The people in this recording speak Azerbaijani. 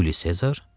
Yuli Sezar?